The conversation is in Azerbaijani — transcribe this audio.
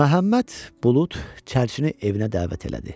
Məhəmməd Bulud çərçini evinə dəvət elədi.